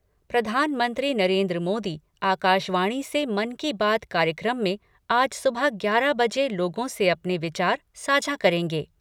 प्रधानमंत्री नरेन्द्र मोदी आकाशवाणी से मन की बात कार्यक्रम में आज सुबह ग्यारह बजे लोगों से अपने विचार साझा करेंगे।